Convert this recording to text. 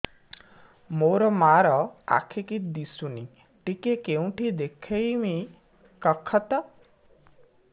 ମୋ ମା ର ଆଖି କି ଦିସୁନି ଟିକେ କେଉଁଠି ଦେଖେଇମି କଖତ